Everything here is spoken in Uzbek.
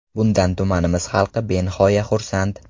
Bundan tumanimiz xalqi benihoya xursand.